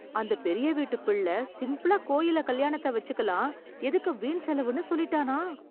அந்த பெரிய வீட்டுப் பிள்ளை சிம்பிளா கோயில்ல கல்யாணத்தை வெச்சுக்கலாம், எதுக்கு வீண் செலவுன்னு சொல்லிட்டானாம்...!